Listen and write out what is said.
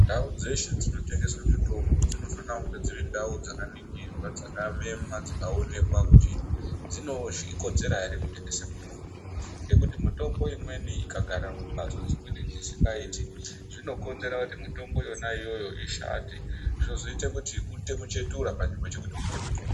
Ndau dzeshe dzinotengeswe mitombo dzinofanire kunge dziri ndau dzakaningirwa dzakamemwa dzikaonekwa kuti dzinokodzera ere kuti dzitengese mutombo ngekuti mitombo imweni ikagare mumhatso dzimweni dzisinagiti zvinokonzera kuti mitombo yona iyoyo ishate zvozoite kuti uite muchetura pane kuti uite mutombo.